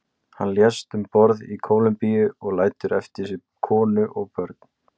Hann lést um borð í Kólumbíu og lætur eftir sig konu og börn.